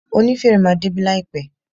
Onífèrè máa débí láìpẹ́.